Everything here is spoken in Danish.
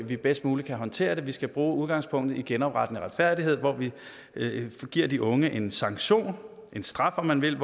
vi bedst muligt kan håndtere det på vi skal bruge udgangspunktet i genoprettende retfærdighed hvor vi giver de unge en sanktion en straf om man vil